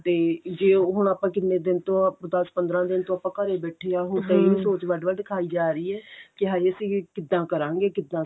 ਤੇ ਜੇ ਹੁਣ ਆਪਾਂ ਕਿੰਨੇ ਦਿਨ ਤੋਂ ਆਪਾਂ ਦਸ ਪੰਦਰਾਂ ਦਿਨ ਤੋਂ ਆਪਾਂ ਘਰੇ ਬੈਠੇ ਆਂ ਹੁਣ ਤੇ ਇਹੀ ਸੋਚ ਵੱਡ ਵੱਡ ਖਾਈ ਜਾ ਰਹੀ ਏ ਕੀ ਹਾਏ ਅਸੀਂ ਕਿੱਦਾਂ ਕਰਾਂਗੇ